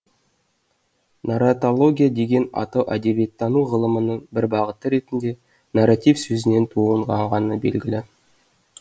нарраталогия деген атау әдебиеттану ғылымының бір бағыты ретінде нарратив сөзінен туындағаны белгілі